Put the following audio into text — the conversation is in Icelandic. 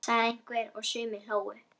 sagði einhver og sumir hlógu.